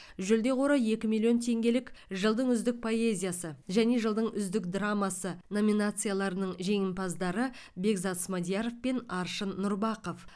жүлде қоры екі миллион теңгелік жылдың үздік поэзиясы және жылдың үздік драмасы номинацияларының жеңімпаздары бекзат смадияров пен аршын нұрбақов